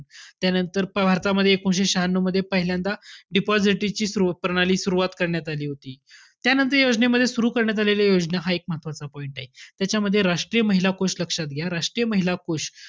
त्यानंतर भारतमध्ये एकोणविशे शहान्यू मध्ये पहिल्यांदा deposit ची प्रणाली सुरवात करण्यात आली होती. त्यानंतर योजनेमध्ये सुरु करण्यात आलेल्या योजना, हा एक महत्वाचा point आहे. त्याच्यामध्ये राष्ट्रीय महिला कोष लक्षात घ्या. राष्ट्रीय महिला कोष.